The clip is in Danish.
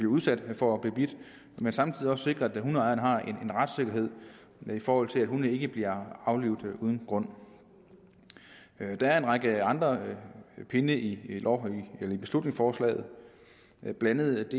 udsat for at blive bidt men samtidig også sikrer at hundeejerne har en retssikkerhed i forhold til at hunde ikke bliver aflivet uden grund der er en række andre pinde i i beslutningsforslaget blandt andet